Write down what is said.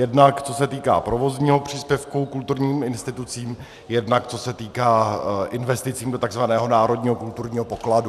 Jednak co se týká provozního příspěvku kulturním institucím, jednak co se týká investic do tzv. národního kulturního pokladu.